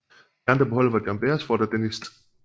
De andre på holdet var John Beresford og Denis St